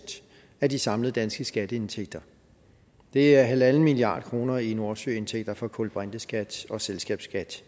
af de samlede danske skatteindtægter det er en milliard kroner i nordsøindtægter fra kulbrinteskat og selskabsskat